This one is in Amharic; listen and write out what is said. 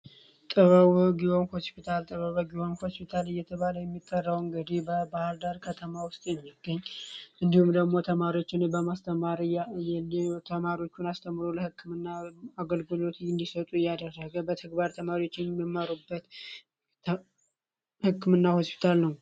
ጥበበ ጊዎን ሆስፒታል ጥበበ ቢሆን ሆስፒታል በመባል የሚጠራው እንግዲህ በባህርዳር ከተማ የሚገኝ ተማሪዎችን አስተምሮ የህክምና አገልግሎት እንዲሰጡ የሚያደርግ ተማሪዎችን በተግባር የሚያስተምሩ የህክምና ሆስፒታል ነው።